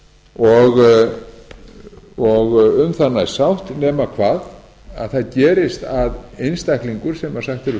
staðið og um það næst sátt nema hvað að það gerist að einstaklingur sem sagt er upp störfum